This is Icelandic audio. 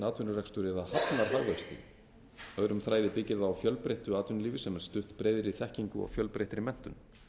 atvinnurekstur eða hafnar hagvexti öðrum þræði byggir það á fjölbreyttu atvinnulífi sem er stutt breiðri þekkingu og fjölbreyttri menntun